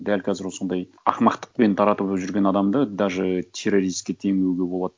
дәл қазір осындай ақымақтықпен таратып жүрген адамды даже террористке теңеуге болады